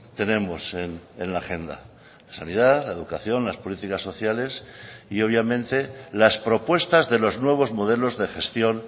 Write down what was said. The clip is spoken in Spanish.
tenemos en la agenda sanidad la educación las políticas sociales y obviamente las propuestas de los nuevos modelos de gestión